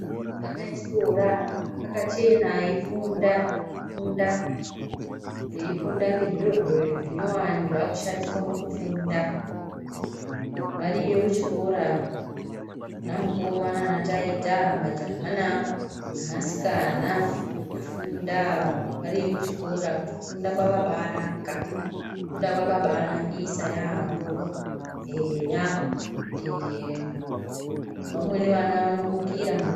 Ana echikora akachena eyifunda arikufunda ngezviro zvinyowani zvakushandiswa mukufunda. Variyo kuchikora ana mukoma nana taita, majaha neasikana varikufunda variyo kuchikora. Kufunda kwakabanaka, kufunda kwakabanakisa yaambo eya. Vamweni vana vanomukira mangwanani.